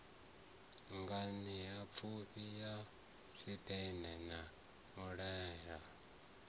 nganeapfufhi ya siphegana na muhanelwa